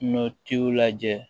Ɲɔtiw lajɛ